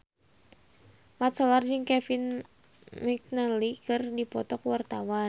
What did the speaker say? Mat Solar jeung Kevin McNally keur dipoto ku wartawan